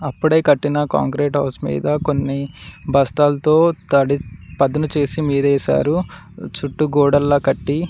ఇప్పుడే కట్టిన concrete house మీద కొన్ని బస్తాల్తో తడి పదును చేసి మీదేశారు చుట్టూ గోడల్లా కట్టి.